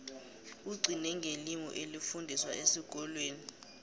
kugcine ngelimi elifundiswa esikolweni